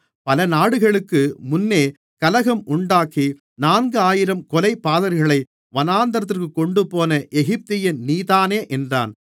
பல நாட்களுக்கு முன்னே கலகம் உண்டாக்கி நான்கு ஆயிரம் கொலைபாதகர்களை வனாந்திரத்திற்குக் கொண்டுபோன எகிப்தியன் நீதானே என்றான்